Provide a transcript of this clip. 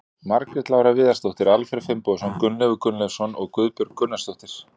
Margrét Lára Viðarsdóttir, Alfreð Finnbogason, Gunnleifur Gunnleifsson og Guðbjörg Gunnarsdóttir.